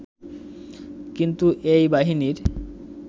কিন্তু এই বাহিনীর